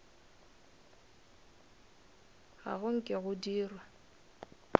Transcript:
ga go nke go dirwa